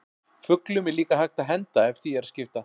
Fuglum er líka hægt að henda ef því er að skipta.